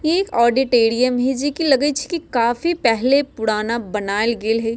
एक ऑडिटेरियम है जे लगे छै की काफी पहले पुराना बनाएल गेल हेय।